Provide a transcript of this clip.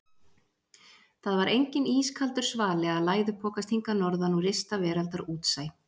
Það var enginn ískaldur svali að læðupokast hingað norðan úr ysta veraldar útsæ.